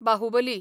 Baahubali